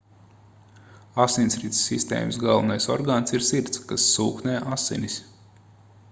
asinsrites sistēmas galvenais orgāns ir sirds kas sūknē asinis